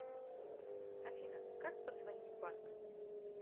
афина как подзвонить в банк